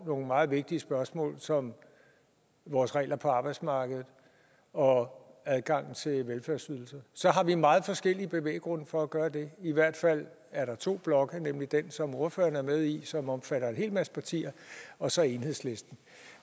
nogle meget vigtige spørgsmål som vores regler på arbejdsmarkedet og adgangen til velfærdsydelser så har vi meget forskellige bevæggrunde for at gøre det i hvert fald er der to blokke nemlig den som ordføreren er med i som omfatter en hel masse partier og så enhedslisten